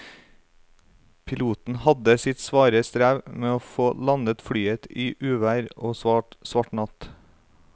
Piloten hadde sitt svare strev med å få landet flyet i uvær og svart natt.